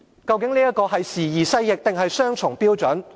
究竟這是時移世易，還是雙重標準？